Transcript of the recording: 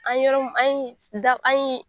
An yɔrɔ an ye an ye da an ye.